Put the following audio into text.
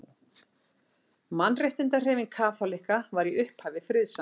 Mannréttindahreyfing kaþólikka var í upphafi friðsamleg.